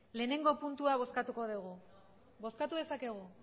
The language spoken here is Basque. lehenengo puntua bozkatuko dugu bozkatu dezakegu